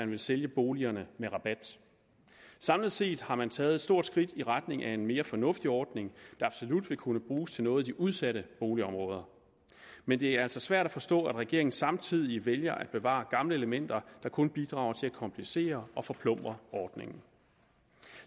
vil sælge boligerne med rabat samlet set har man taget et stort skridt i retning af en mere fornuftig ordning der absolut vil kunne bruges til noget i de udsatte boligområder men det er altså svært at forstå at regeringen samtidig vælger at bevare gamle elementer der kun bidrager til at komplicere og forplumre ordningen